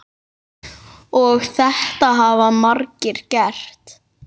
Og þetta hafa margir gert.